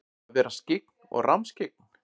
Að vera skyggn og rammskyggn?